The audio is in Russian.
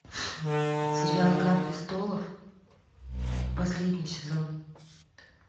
сериал игра престолов последний сезон